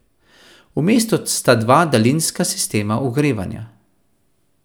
V mestu sta dva daljinska sistema ogrevanja.